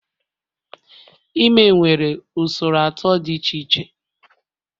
Ime nwere usoro atọ dị iche iche